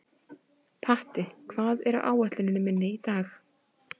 Patti, hvað er á áætluninni minni í dag?